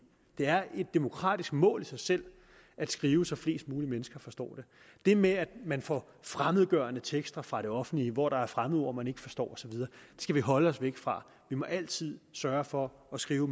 det er et demokratisk mål i sig selv at skrive så flest mulige forstår det det med at man får fremmedgørende tekster fra det offentlige hvor der er fremmedord man ikke forstår osv skal vi holde os væk fra vi må altid sørge for at skrive